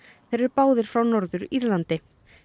þeir eru báðir frá Norður Írlandi